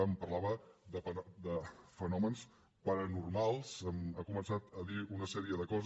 em parlava de fenòmens paranormals ha començat a dir una sèrie de coses